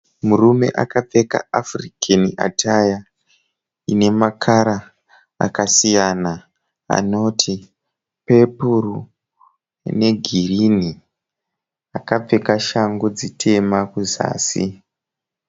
Murume akapfeka African atire ine makara akasiyana anoti pepuru ine girinhi akapfeka shangu dzitema kuzasi.